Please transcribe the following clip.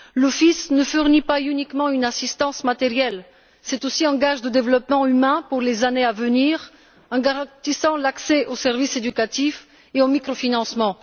L'UNRWA ne fournit pas uniquement une assistance matérielle, mais présente aussi un gage de développement humain pour les années à venir, en garantissant l'accès aux services éducatifs et au microfinancement.